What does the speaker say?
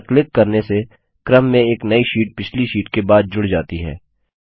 इस पर क्लिक करने से क्रम में एक नई शीट पिछली शीट के बाद जुड़ जाती है